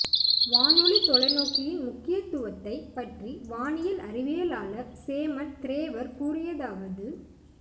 வானொலி தொலைநோக்கியின் முக்கியத்துவத்தைப் பற்றி வானியல் அறிவியலாளர் சேமன் திரேவர் கூறியதாவது